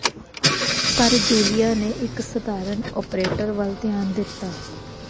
ਪਰ ਜੂਲੀਆ ਨੇ ਇੱਕ ਸਧਾਰਨ ਓਪਰੇਟਰ ਵੱਲ ਧਿਆਨ ਦਿੱਤਾ